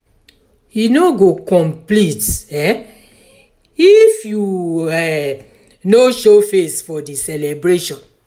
e no go complete um if you um no show face for di celebration.